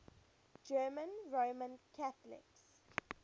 german roman catholics